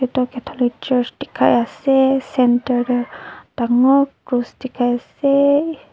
eto catholic church tekai ase centre teh tangore cross tekai ase.